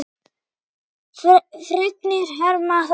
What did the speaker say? Fregnir herma að.